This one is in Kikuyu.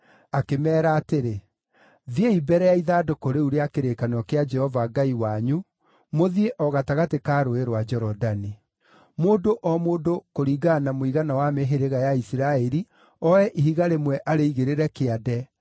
akĩmeera atĩrĩ, “Thiĩi mbere ya ithandũkũ rĩu rĩa kĩrĩkanĩro kĩa Jehova Ngai wanyu, mũthiĩ o gatagatĩ ka Rũũĩ rwa Jorodani. Mũndũ o mũndũ kũringana na mũigana wa mĩhĩrĩga ya Isiraeli, oe ihiga rĩmwe arĩigĩrĩre kĩande,